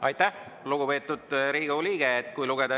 Aitäh, lugupeetud Riigikogu liige!